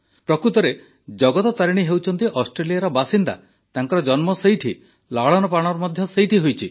ପ୍ରକୃତରେ ଜଗତ ତାରିଣୀ ହେଉଛନ୍ତି ଅଷ୍ଟ୍ରେଲିଆର ବାସିନ୍ଦା ତାଙ୍କର ଜନ୍ମ ସେଠି ଲାଳନପାଳନ ମଧ୍ୟ ସେଠି ହିଁ ହୋଇଛି